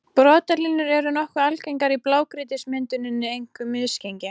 Brotalínur eru nokkuð algengar í blágrýtismynduninni, einkum misgengi.